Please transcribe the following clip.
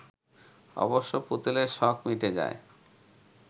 অবশ্য পুতুলের শখ মিটে যায়